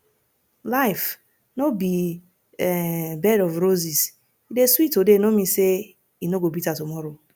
life no be um bed of roses e dey sweet today no mean say e no go bitter tomorrow